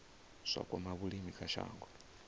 zwa kwama vhulimi kha shango